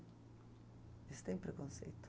Eles têm preconceito.